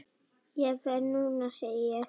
Ég fer núna, segi ég.